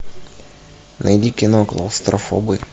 найди кино клаустрофобы